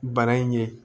Bana in ye